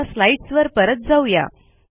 आता स्लाईडस वर परत जाऊ या